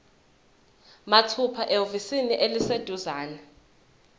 mathupha ehhovisi eliseduzane